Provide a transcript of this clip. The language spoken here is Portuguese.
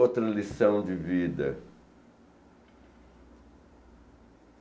Outra lição de vida.